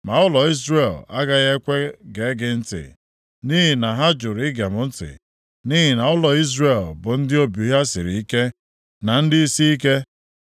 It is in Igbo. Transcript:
Ma ụlọ Izrel agaghị ekwe gee gị ntị, nʼihi na ha jụrụ ige m ntị. Nʼihi na ụlọ Izrel bụ ndị obi ha siri ike, na ndị isiike.